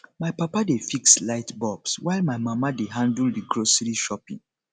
my papa dey fix light bulbs while my mama dey handle the grocery shopping